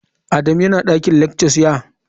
Adamu yana dakin lectures, ya?